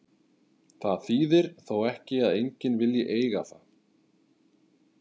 Það þýðir þó ekki að enginn vilji eiga það.